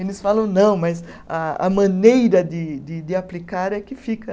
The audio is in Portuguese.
Eles falam, não, mas a a maneira de de de aplicar é que fica.